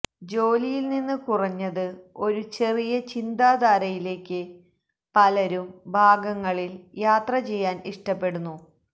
ജോലിയിൽ നിന്ന് കുറഞ്ഞത് ഒരു ചെറിയ ചിന്താധാരയിലേയ്ക്ക് പലരും ഭാഗങ്ങളിൽ യാത്ര ചെയ്യാൻ ഇഷ്ടപ്പെടുന്നു